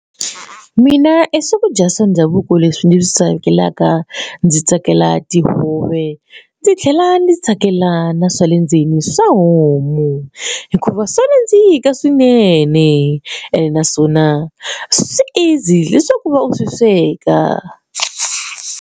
Mina swakudya swa ndhavuko leswi ndzi swi tsakelaka ndzi tsakela tihove ndzi tlhela ndzi tsakelana swa le ndzeni swa homu hikuva swa nandzika swinene ene naswona swi easy leswaku u va u swi sweka.